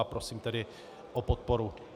A prosím tedy o podporu.